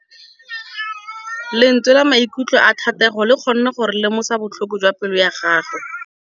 Lentswe la maikutlo a Thategô le kgonne gore re lemosa botlhoko jwa pelô ya gagwe.